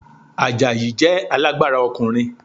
Àjàyí jẹ alágbára ọkùnrin